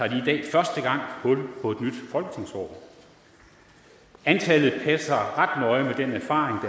i dag første gang hul på et nyt folketingsår antallet den erfaring der er fra